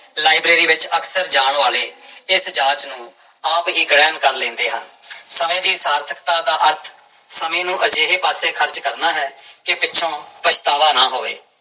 Library ਵਿੱਚ ਅਕਸਰ ਜਾਣ ਵਾਲੇ ਇਸ ਜਾਂਚ ਨੂੰ ਆਪ ਹੀ ਗ੍ਰਹਿਣ ਕਰ ਲੈਂਦੇ ਹਨ ਸਮੇਂ ਦੀ ਸਾਰਥਕਤਾ ਦਾ ਅਰਥ ਸਮੇਂ ਨੂੰ ਅਜਿਹੇ ਪਾਸੇ ਖ਼ਰਚ ਕਰਨਾ ਹੈ ਕਿ ਪਿੱਛੋਂ ਪਛਤਾਵਾ ਨਾ ਹੋਵੇ।